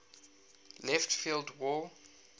left field wall